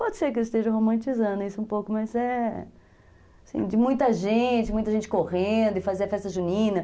Pode ser que eu esteja romantizando isso um pouco, mas é...Assim, de muita gente, muita gente correndo e fazia a festa junina.